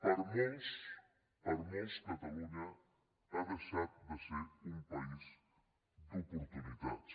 per a molts per a molts catalunya ha deixat de ser un país d’oportunitats